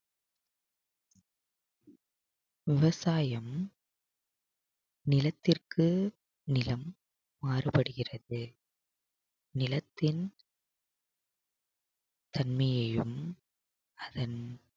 விவசாயம் நிலத்திற்கு நிலம் மாறுபடுகிறது நிலத்தின் தன்மையையும் அதன்